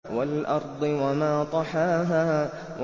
وَالْأَرْضِ وَمَا طَحَاهَا